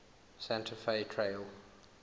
santa fe trail